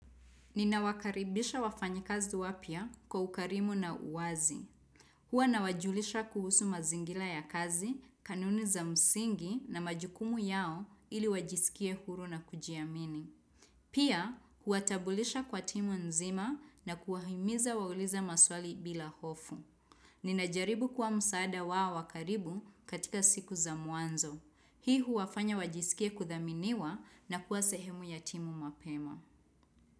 Ninawakaribisha wafanyikazi wapya kwa ukarimu na uwazi. Huwa nawajulisha kuhusu mazingira ya kazi, kanuni za msingi na majukumu yao ili wajiskie huru na kujiamini. Pia, huwatambulisha kwa timu nzima na kuwahimiza waulize maswali bila hofu. Ninajaribu kuwa msaada wao wa karibu katika siku za mwanzo. Hii huwafanya wajisikie kuthaminiwa na kuwa sehemu ya timu mapema.